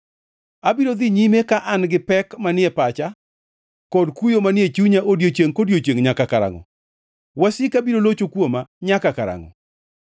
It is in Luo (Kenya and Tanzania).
Abiro dhi nyime ka an gi pek manie pacha kod kuyo manie chunya odiechiengʼ kodiechiengʼ nyaka karangʼo? Wasika biro locho kuoma nyaka karangʼo?